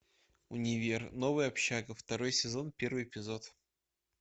универ новая общага второй сезон первый эпизод